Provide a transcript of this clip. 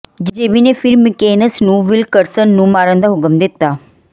JB ਨੇ ਫਿਰ Mickens ਨੂੰ ਵਿਲਕਰਸਨ ਨੂੰ ਮਾਰਨ ਦਾ ਹੁਕਮ ਦਿੱਤਾ